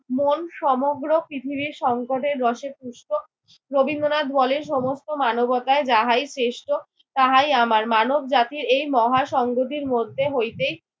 মন সমগ্র পৃথিবীর সংকটের রসে পুষ্ট। রবীন্দ্রনাথ বলেন সমস্ত মানবতায় যাহাই শ্রেষ্ঠ তাহাই আমার। মানব জাতির এই মহা সংগতির মধ্যে হইতেই